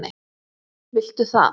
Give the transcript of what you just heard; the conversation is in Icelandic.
Viltu það?